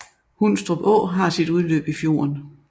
Hundstrup Å har sit udløb i fjorden